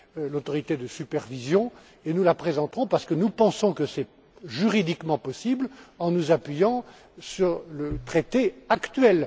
l'autorité de supervision et nous la présenterons parce que nous pensons que c'est juridiquement possible en nous appuyant sur le traité actuel.